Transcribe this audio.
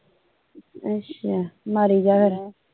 ਅੱਛਾ ਮਾਰੀ ਜਾ ਫਿਰ